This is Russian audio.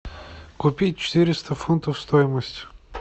купить четыреста фунтов стоимость